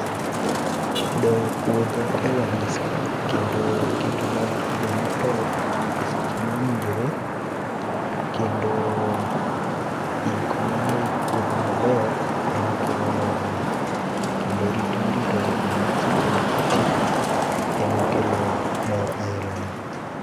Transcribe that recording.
Doyo puodho e wang' saa kendo ketone oduma top e seche mowinjore kendo iko mano ik puodho maber ema kelo mor ni. Kendo rit mirito go oduma seche ma otii ema kelo mor aila ni